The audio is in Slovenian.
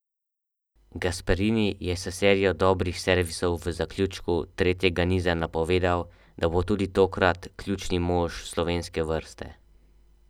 Gasparini je s serijo dobrih servisov v zaključku tretjega niza napovedal, da bo tudi tokrat ključni mož slovenske vrste.